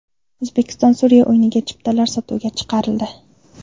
O‘zbekiston–Suriya o‘yiniga chiptalar sotuvga chiqarildi.